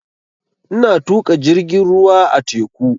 Ina tuƙa jirgin ruwa a teku